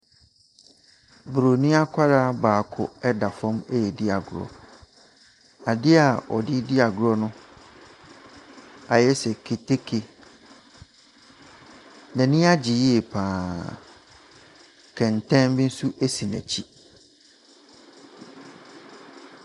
Broni akwadaa baako ɛda fam edi agorɔ. Adeɛ a ɔdedi agorɔ no ayɛse keteke. N'ani agye yie paa. Kɛntɛn bi nso esi n'akyi.